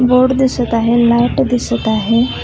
Board दिसत आहे light दिसत आहे.